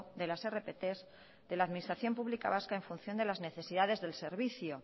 de las rpt de la administración pública vasca en función de las necesidades del servicio